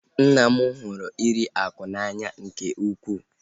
Nna m hụrụ iri akụ n'anya nke ukwuu